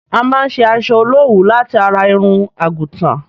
A má n ṣe asọ olówuú láti ara irun àgùtàn.